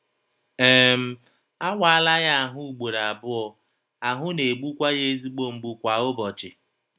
um A waala ya ahụ́ ugboro abụọ, ahụ́ na - egbukwa ya ezigbo mgbu kwa ụbọchị.